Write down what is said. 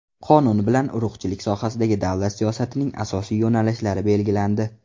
Qonun bilan urug‘chilik sohasidagi davlat siyosatining asosiy yo‘nalishlari belgilandi.